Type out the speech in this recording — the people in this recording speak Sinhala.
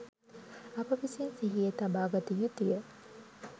අප විසින් සිහියේ තබාගත යුතු ය.